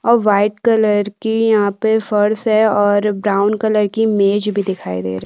अउ white colour की flash और ब्राउन कलर की मेज भी दिखाई दे रही है।